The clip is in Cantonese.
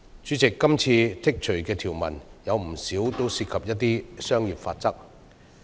主席，今次剔除的條文，有不少涉及商業法則。